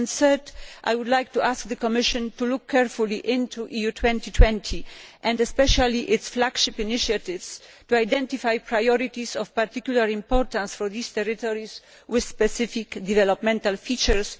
Thirdly, I would like to ask the Commission to look carefully into EU 2020, and especially its flagship initiatives, to identify priorities of particular importance for these territories with specific developmental features.